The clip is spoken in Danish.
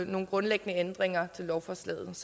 nogle grundlæggende ændringer til lovforslaget